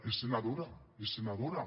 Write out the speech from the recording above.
és senadora és senadora